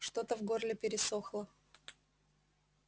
что-то в горле пересохло